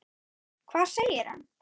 Hvað segir hann?